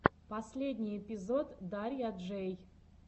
последний эпизод дарья джэй